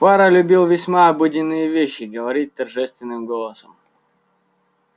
фара любил весьма обыденные вещи говорить торжественным голосом